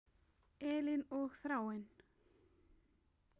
Elín og Þráinn.